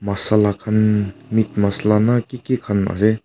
massala khan meat massala na kiki khan ase.